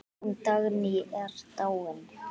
Hún Dagný er dáin.